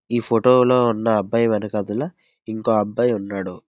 ఈ ఫోటోలో ఉన్న అబ్బాయి వెనకాతల ఇంకో అబ్బాయి ఉన్నాడు.